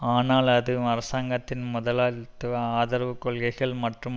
ஆனால் அது அரசாங்கத்தின் முதலாளித்துவ ஆதரவு கொள்கைகள் மற்றும்